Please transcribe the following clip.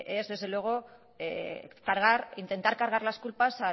es desde luego cargar intentar cargar las culpas